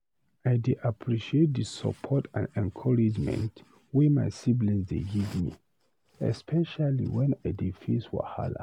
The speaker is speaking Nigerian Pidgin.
I dey appreciate dey support and encouragement wey my siblings dey give me, especially when I dey face wahala.